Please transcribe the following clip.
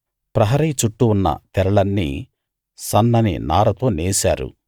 ప్రహరీ చుట్టూ ఉన్న తెరలన్నీ సన్నని నారతో నేశారు